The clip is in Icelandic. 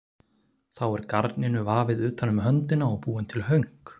Þá er garninu vafið utan um höndina og búin til hönk.